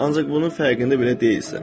ancaq bunun fərqində belə deyilsən.